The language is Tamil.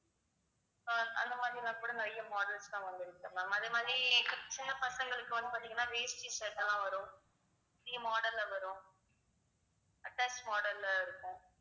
ஆஹ் அந்த மாதிரின்னா கூட நிறைய models லாம் வந்து இருக்கு ma'am அது மாதிரி சின்ன பசங்களுக்கு வந்து பார்த்தீங்கன்னா வேஷ்டி shirt லாம் வரும் model ல வரும் attach model ல இருக்கும்